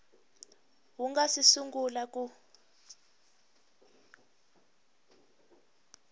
wu nga si sungula ku